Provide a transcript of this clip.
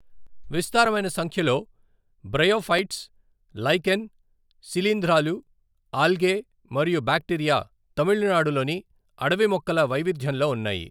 విస్తారమైన సంఖ్యలో bryophytes, lichen, శిలీంధ్రాలు, ఆల్గే మరియు బ్యాక్టీరియా తమిళనాడులోని అడవి మొక్కల వైవిధ్యంలో ఉన్నాయి.